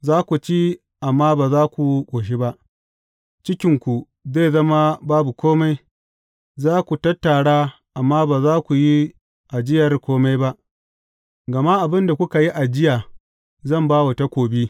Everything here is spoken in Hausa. Za ku ci amma ba za ku ƙoshi ba, cikinku zai zama babu kome Za ku tattara amma ba za ku yi ajiyar kome ba, gama abin da kuka yi ajiya zan ba wa takobi.